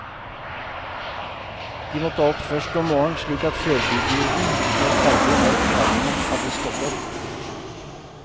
De måtte opp først om morgenen, slik at førdugurden var ferdig når karene hadde stått opp.